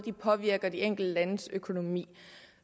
påvirker de enkelte landes økonomi